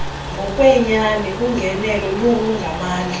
ngokwenyani ungenelo olungamandla